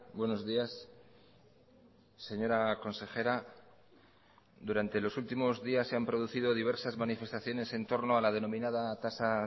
buenos días señora consejera durante los últimos días se han producido diversas manifestaciones en torno a la denominada tasa